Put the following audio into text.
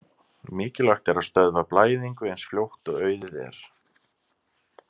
Mikilvægt er að stöðva blæðingu eins fljótt og auðið er.